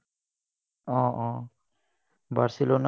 Um um Barcelona.